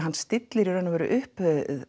stillir í raun upp